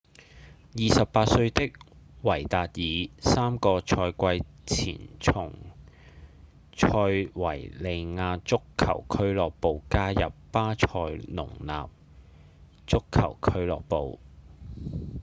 28歲的維達爾三個賽季前從塞維利亞足球俱樂部加入巴塞隆納足球俱樂部